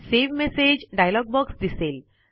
save message dialog box दिसेल